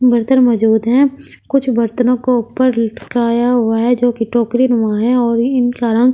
बर्तन मौजूद है कुछ बर्तनों को ऊपर लटकया हुआ है जोकि टोकरी नुमा है और इन का रंग--